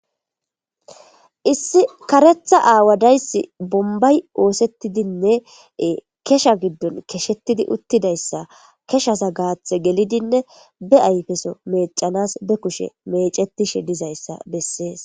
issi karetha aawadayssi bombay oosettidinne kesha giddon keshettidi uttidayssa keshasa gaathe gelidinne be ayfeso meecanas be kushe mecetishe dizayssa bessees